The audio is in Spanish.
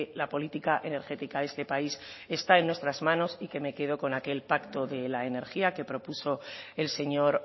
la política energética de este país está en nuestras manos y que me quedo con aquel pacto de la energía que propuso el señor